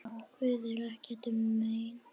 Guði er ekkert um megn.